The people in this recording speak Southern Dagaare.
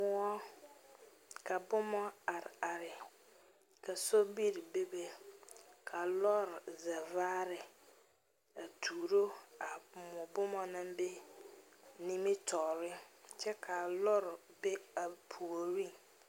moɔ ka boma are are, ka sobiri bebe ka lɔɔre vaare a tuuro a moɔ boma naŋ be nimitɔre kyɛ kaa lɔr be a puori